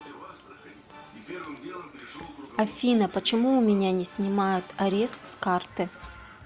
афина почему у меня не снимают арест с карты